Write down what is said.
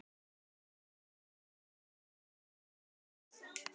En ég vil samt ekki benda á hann neitt sérstaklega.